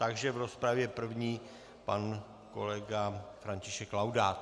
Takže v rozpravě první pan kolega František Laudát.